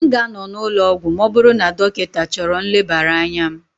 M ga-anọ n'ụlọ ọgwụ ma ọ bụrụ na dọkịta chọrọ nlebara anya m